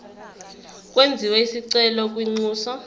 kwenziwe isicelo kwinxusa